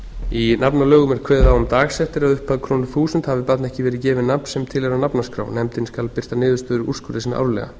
í nafnalögum er kveðið á um dagsektir að upphæð krónur þúsund hafi barni ekki verið gefið nafn sem tilheyrir nafnaskrá nefndin skal birta niðurstöður úrskurða sinna árlega